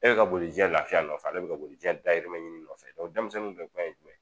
E bɛ ka boli diɲɛ lafiya nɔfɛ ale bɛ ka boli diɲɛ dayirimɛ ɲini nɔfɛ, denmisɛnnin kuma ye jumɛn ye